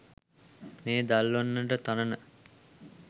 මේ දල්වන්නට තනන